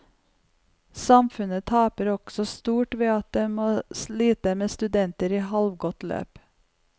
Samfunnet taper også stort ved at det må slite med studenter i halvgått løp.